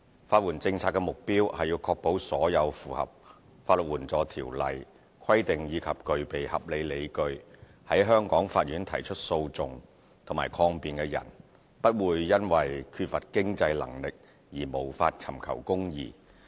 法援政策的目標，是確保所有符合《法律援助條例》規定，以及具備合理理據在香港法院提出訴訟及抗辯的人，不會因缺乏經濟能力而無法尋求公義。